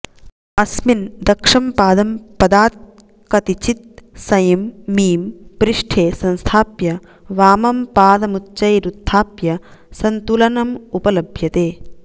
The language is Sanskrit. अस्मिन दक्षं पादं पदात् कतिचित् सैं मीं पृष्ठे संस्थाप्य वामं पादमुच्चैरुत्थाप्य सन्तुलनमुपलभ्यते